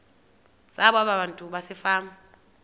zabo abantu basefama